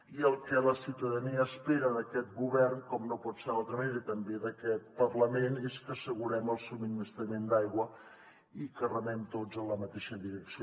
i el que la ciutadania espera d’aquest govern com no pot ser d’altra manera i també d’aquest parlament és que assegurem el subministrament d’aigua i que remem tots en la mateixa direcció